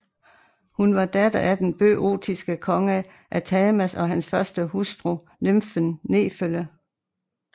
Hun var datter af den bøotiske konge Athamas og hans første hustru nymfen Nefele